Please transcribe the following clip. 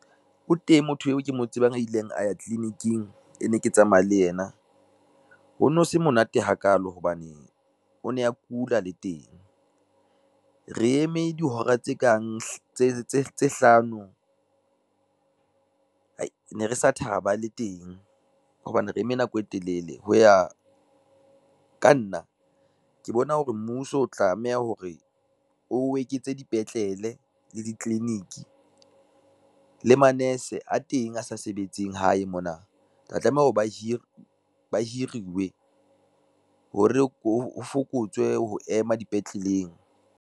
O teng motho eo ke mo tsebang a ileng a ya tliliniking e ne ke tsamaya le ena. Ho no se monate hakalo hobane o ne a kula le teng, re eme dihora tse kang tse hlano re ne re sa thaba le teng hobane re eme nako e telele. Ho ya ka nna ke bona hore mmuso o tlameha hore o eketse dipetlele le ditliliniki, le manese a teng a sa sebetseng hae mona tla tlameha hore ba hiruwe, hore ho fokotswe ho ema dipetleleng.